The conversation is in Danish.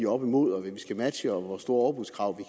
oppe imod hvad vi skal matche og hvor store overbudskrav vi